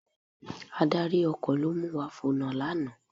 Adarí ọkọ̀ ló mu wa fònà lánàá